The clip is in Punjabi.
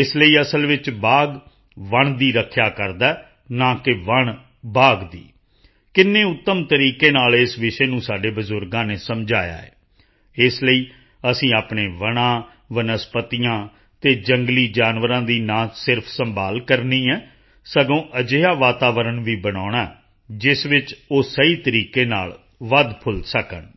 ਇਸ ਲਈ ਅਸਲ ਵਿੱਚ ਬਾਘ ਵਣ ਦੀ ਰੱਖਿਆ ਕਰਦਾ ਹੈ ਨਾ ਕਿ ਵਣ ਬਾਘ ਦੀ ਕਿੰਨੇ ਉੱਤਮ ਤਰੀਕੇ ਨਾਲ ਇਸ ਵਿਸ਼ੇ ਨੂੰ ਸਾਡੇ ਬਜ਼ੁਰਗਾਂ ਨੇ ਸਮਝਾਇਆ ਹੈ ਇਸ ਲਈ ਅਸੀਂ ਆਪਣੇ ਵਣਾਂ ਵਣਸਪਤੀਆਂ ਅਤੇ ਜੰਗਲੀ ਜਾਨਵਰਾਂ ਦੀ ਨਾ ਕੇਵਲ ਸੰਭਾਲ ਕਰਨੀ ਹੈ ਸਗੋਂ ਅਜਿਹਾ ਵਾਤਾਵਰਣ ਵੀ ਬਣਾਉਣਾ ਹੈ ਜਿਸ ਵਿੱਚ ਉਹ ਸਹੀ ਤਰੀਕੇ ਨਾਲ ਵਧਫੁੱਲ ਸਕਣ